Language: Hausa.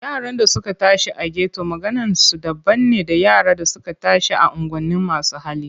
Yaran da suka tashi a geto maganinsu daban ne da yara da suka tashi a unguwanin masu hali.